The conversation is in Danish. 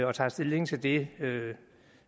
vi tager stilling til det